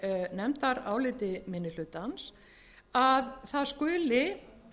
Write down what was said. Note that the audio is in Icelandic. nefndaráliti minni hlutans að það skuli